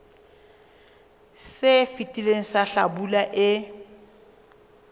se fetileng sa hlabula e